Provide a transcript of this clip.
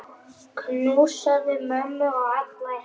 Knúsaðu mömmu og alla hina.